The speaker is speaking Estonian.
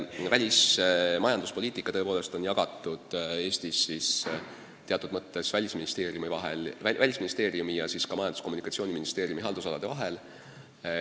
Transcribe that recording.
Välismajanduspoliitika tõepoolest on Eestis teatud mõttes jagatud Välisministeeriumi ning Majandus- ja Kommunikatsiooniministeeriumi haldusalade vahel.